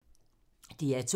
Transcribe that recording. DR2